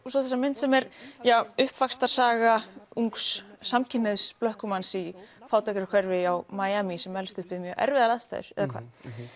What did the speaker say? svo þessa mynd sem er uppvaxtarsaga ungs samkynhneigðs blökkumanns í fátækrahverfi á Miami sem elst upp við mjög erfiðar aðstæður eða hvað